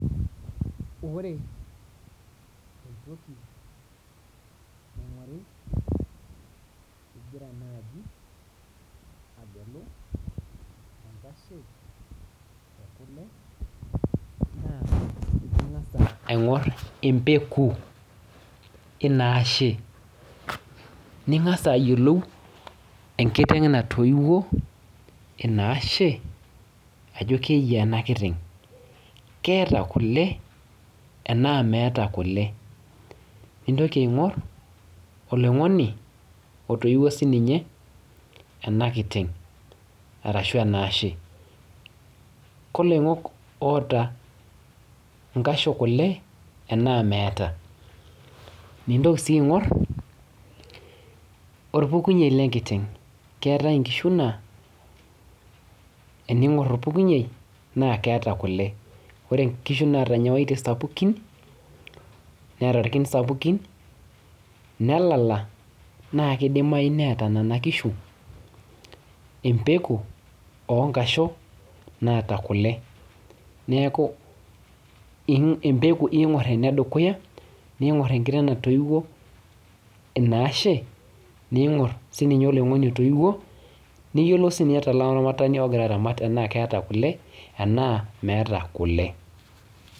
Ore entoki naing'ori igira naji agelu enkashe ekule, naa ing'asa aing'or empeku inaashe. Ning'asa ayiolou enkiteng natoiwuo inaashe ajo keyiaa ena kiteng. Keeta kule enaa meeta kule. Nintoki aing'or, oloing'oni otoiwuo sininye enakiteng arashu enaashe. Koloing'ok oota inkasho kule enaa meeta. Nintoki si aing'or orpukunyei lenkiteng. Keetae inkishu naa, ening'or orpukunyei, na keeta kule. Ore nkishu naata nyewaitie sapukin, neeta irkin sapukin, nelala, na kidimayu neeta nena kishu empeku onkasho naata kule. Neeku, empeku ing'or enedukuya, ning'or enkiteng natoiwuo inaashe, ning'or sininye oloing'oni otoiwuo, niyiolou sinye tolaramatani ogira aramat tenaa keeta kule, enaa meeta kule.